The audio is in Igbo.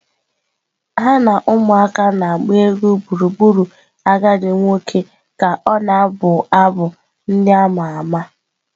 Ha na ụmụaka na-agba egwu gburugburu agadi nwoke ka ọ na-abụ abụ ndị a ma ama.